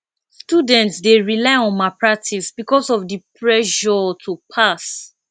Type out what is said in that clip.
students dey rely on malpractice because of di pressure to pass